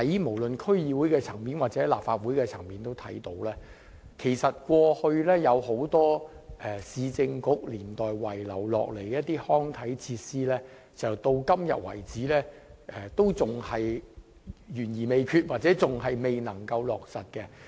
無論在區議會或立法會也看到，過去有很多兩個市政局年代遺留下來的康體設施工程計劃，至今仍然懸而未決或未能落實。